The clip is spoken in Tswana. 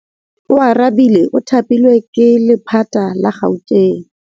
Oarabile o thapilwe ke lephata la Gauteng.